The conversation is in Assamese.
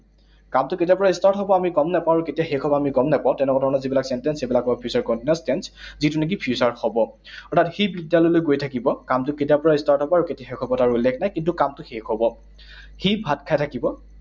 কামটো কেতিয়াৰ পৰা start হব আমি গম নাপাওঁ। আৰু কেতিয়া শেষ হব আমি গম নাপাওঁ। তেনেকুৱা ধৰণৰ যিবিলাক sentence, সেইবিলাক হল future continuous tense, যিটো নেকি future ত হব। অৰ্থাৎ সি বিদ্যালয়লৈ গৈ থাকিব, কামটো কেতিয়াৰ পৰা start হব আৰু কেতিয়া শেষ হব তাৰ উল্লেখ নাই, কিন্তু কামটো শেষ হব। সি ভাত খাই থাকিব।